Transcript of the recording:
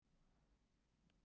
Sú bók var